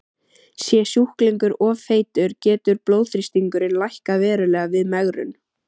Sé sjúklingur of feitur getur blóðþrýstingurinn lækkað verulega við megrun.